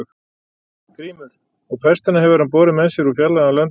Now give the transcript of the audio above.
GRÍMUR: Og pestina hefur hann borið með sér úr fjarlægum löndum.